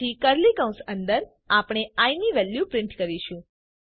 પછી કર્લી કૌંસ અંદર આપણે આઇ ની વેલ્યુ પ્રિન્ટ કરીશું